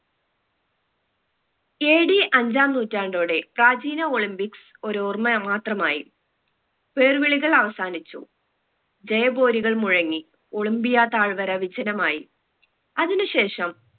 AD അഞ്ചാം നൂറ്റാണ്ടോടെ പ്രാചീന olympics ഒരോർമ മാത്രമായി പേർവിളികൾ അവസാനിച്ചു ജയബോരികൾ മുഴങ്ങി ഒളിമ്പിയ തായ്‌വര വിജനമായി അതിന് ശേഷം